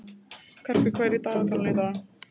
Karkur, hvað er í dagatalinu í dag?